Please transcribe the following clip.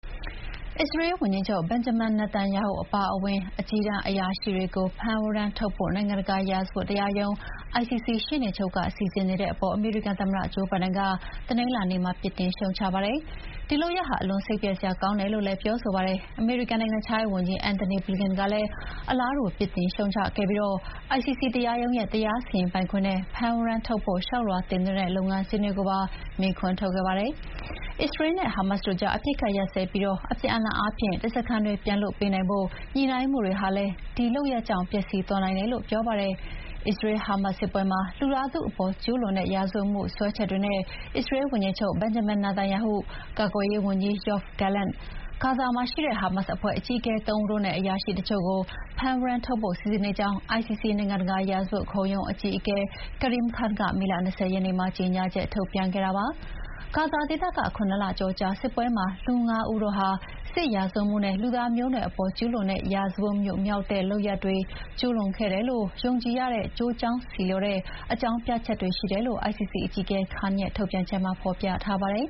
အစ္စရေးဝန်ကြီးချုပ် Benjamin Netanyahu အပါအဝင် အကြီးတန်းအရာရှိတွေကို ဖမ်းဝရမ်းထုတ်ဖို့ နိုင်ငံတကာရာဇဝတ်တရားရုံး ICC ရှေ့နေချုပ်က စီစဥ်နေတဲ့အပေါ် အမေရိကန်သမ္မတ ဂျိုးဘိုင်ဒန်က တနင်္လာနေ့မှာ ပြစ်တင်ရှုတ်ချလိုက်ပါတယ်။ ဒီလုပ်ရပ်ဟာ အလွန်စိတ်ပျက်စရာကောင်းတယ်လို့လည်း ပြောပါတယ်။ အမေရိကန်နိုင်ငံခြားရေးဝန်ကြီး Antony Blinken ကလည်း အလားတူ ပြစ်တင်ရှုတ်ချပြီး ICC တရားရုံးရဲ့ တရားစီရင်ပိုင်ခွင့်နဲ့ ဖမ်းဝရမ်းထုတ်ဖို့ လျှောက်လွှာတင်သွင်းတဲ့လုပ်ငန်းစဥ်ကိုပါ မေးခွန်းထုတ်ခဲ့ပါတယ်။ အစ္စရေးလ်နဲ့ ဟာမတ်စ်တို့ကြား အပစ်အခတ်ရပ်စဲပြီး အပြန်အလှန်အားဖြင့် ဓားစာခံတွေပြန်လွှတ်ပေးနိုင်ဖို့ ညှိနှိုင်းမှုတွေဟာလည်း ဒီလုပ်ရပ်ကြောင့် ပျက်စီးသွားနိုင်တယ်လို့ပြောပါတယ်။ အစ္စရေး-ဟာမတ်စ် စစ်ပွဲမှာ လူသားထုအပေါ်ကျူးလွန်တဲ့ရာဇဝတ်မှုစွဲချက်တွေနဲ့ အစ္စရေးဝန်ကြီးချုပ် Benjamin Netanyahu၊ ကာကွယ်ရေးဝန်ကြီး Yoav Gallant၊ ဂါဇာမှာရှိတဲ့ ဟာမတ်စ်အဖွဲ့အကြီးအကဲ ၃ ဦးနဲ့ အရာရှိတချို့ကို ဖမ်းဝရမ်းထုတ်ဖို့ စီစဉ်နေကြောင်း ICC နိုင်ငံတကာ ရာဇဝတ်ခုံရုံးအကြီးအကဲ Karim Khan က မေလ ၂၀ ရက်နေ့မှာကြေညာချက် ထုတ်ပြန်ခဲ့တာပါ။ ဂါဇာဒေသက ခုနစ်လကျော်ကြာစစ်ပွဲမှာ လူ၅ ဦးတို့ဟာ စစ်ရာဇဝတ်မှုနဲ့ လူသားမျိုးနွယ်အပေါ် ကျူးလွန်တဲ့ ရာဇဝတ်မှုမြောက်တဲ့ လုပ်ရပ်တွေကျူးလွန်ခဲ့တယ်လို့ ယုံကြည်ရတဲ့ ကျိုးကြောင်းဆီလျော်သော အကြောင်းပြချက်ရှိတယ်လို့ ICC အကြီးအကဲ Khan ရဲ့ထုတ်ပြန်ချက်မှာ ဖော်ပြထားပါတယ်